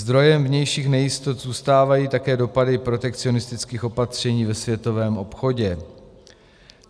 Zdrojem vnějších nejistot zůstávají také dopady protekcionistických opatření ve světovém obchodě.